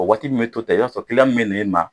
O waati min bɛ to tan, ka b'a sɔrɔ min bɛ se e ma